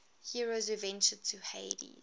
heroes who ventured to hades